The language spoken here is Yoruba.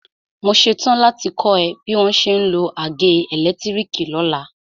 Mo ṣetán láti kọ́ ẹ bí wọ́n ṣe ń lo àgé ẹ̀lẹ́tírìkì lọ́la.